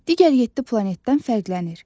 Digər yeddi planetdən fərqlənir.